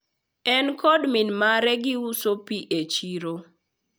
en kod min mare giuso pi e chiro